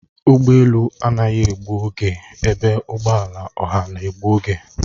Ụgbọ elu anaghị egbu oge ebe ụgbọ ala ọha na-egbu oge